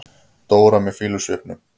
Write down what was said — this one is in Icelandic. Dóra með fýlusvipnum.